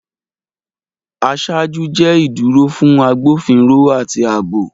Aṣáájú jẹ iduro fun agbofinro ati aabo.